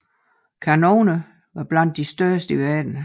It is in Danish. Kanonerne var blandt de største i verden